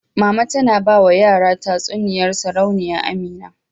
Mama tana ba wa yara tatsuniyar Sarauniya Amina.